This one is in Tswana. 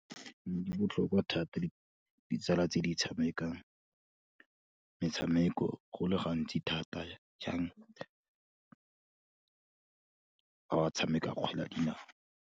Di botlhokwa thata ditsala tse di tshamekang metshameko go le gantsi thata jang, ba ba tshamekang kgwele ya dinao.